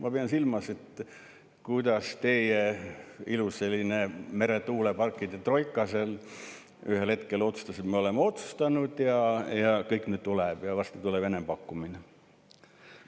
" Ma pidasin silmas seda, kuidas teie ilus meretuuleparkide troika ühel hetkel otsustas, et me oleme otsustanud ja kõik, nüüd tuleb varsti enampakkumine.